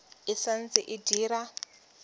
e sa ntse e dira